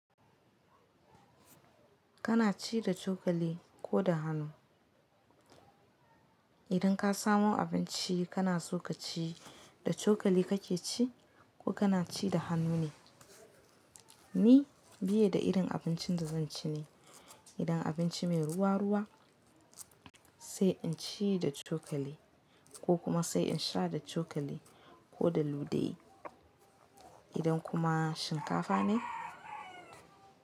Kana ci da cokali ko da hanu? Idan ka samo abinci kana so ka ci, da cokali ka ke ci ko kana ci da hannu ne? Ni biye da irin abincin da zan ci ne. Idan abinci mai ruwa ruwa sai in ci da cokali ko kuma sai in sha da cokali ko da ludayi. Idan kuma shinkafa ne.